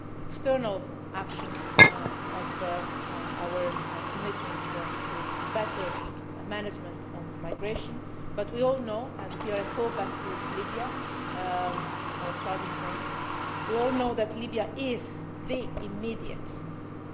it comes to external action on our commitment to better management of migration, but we all know and here I go back to Libya, our starting point we all know that Libya is the immediate